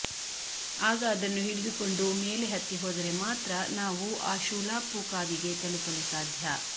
ಆಗ ಅದನ್ನು ಹಿಡಿದುಕೊಂಡು ಮೇಲೆ ಹತ್ತಿ ಹೋದರೆ ಮಾತ್ರ ನಾವು ಆ ಶೂಲಾಪು ಕಾವಿಗೆ ತಲುಪಲು ಸಾಧ್ಯ